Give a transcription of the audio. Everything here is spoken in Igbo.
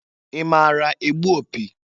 I maara egbu opi?